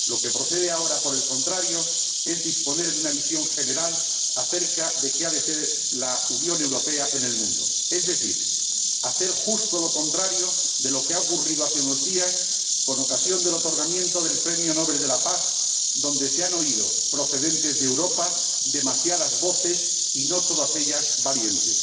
Lo que procede ahora, por el contrario, es disponer de una visión general acerca de qué ha de ser la Unión Europea en el mundo, es decir, hacer justo lo contrario de lo que ha ocurrido hace unos días con ocasión de la concesión del Premio Nobel de la Paz, cuando se han oído, procedentes de Europa, demasiadas voces y no todas ellas valientes.